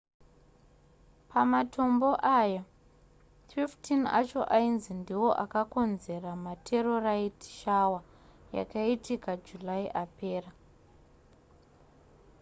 pamatombo aya 15 acho ainzi ndiwo akakonzera meterorite shower yakaitika july apera